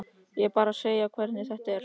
Ég er bara að segja þér hvernig þetta er.